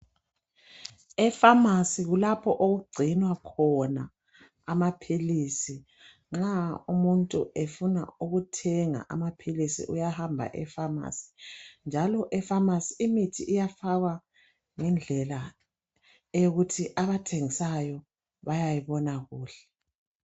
E pharmacy kulapho okugcinwa khona amaphilisi. Nxa umuntu efuna ukuthenga amaphilisi uyahamba epharmacy, njalo epharmacy imithi iyafakwa ngendlela eyokuthi abathengisayo bayayibona kuhle.